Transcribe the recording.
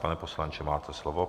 Pane poslanče, máte slovo.